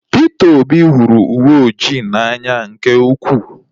Peter Obi hụrụ uwe oji n'anya nke ukwuu